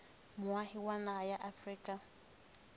moahi wa naha ya afrika